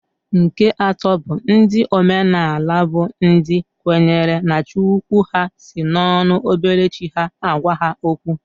Nke atọ bụ ndị omenaala bụ ndị kwenyere na Chi ukwu ha si n'ọnụ obere chi ha agwa ha okwu.